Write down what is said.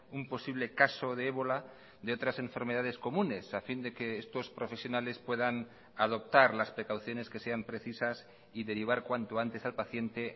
un posible caso de ébola de otras enfermedades comunes a fin de que estos profesionales puedan adoptar las precauciones que sean precisas y derivar cuanto antes al paciente